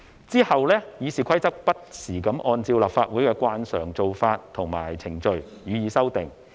其後《議事規則》不時按照立法會的慣常做法和程序予以修訂。